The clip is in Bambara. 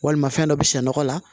Walima fɛn dɔ bi sɛ nɔgɔ la